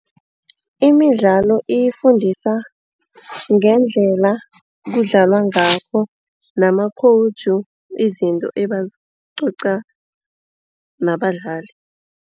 Imidlalo ifundisa ngendlela kudlalwa ngakho namakhowuju izinto ebazicoca nabadlali.